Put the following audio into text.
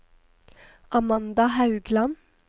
Amanda Haugland